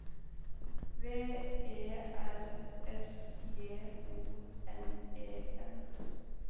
V E R S J O N E N